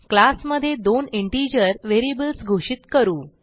class मधे दोन integer variables घोषित करू